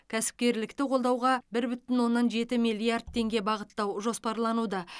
кәсіпкерлікті қолдауға бір бүтін оннан жеті миллиард теңге бағыттау жоспарлануда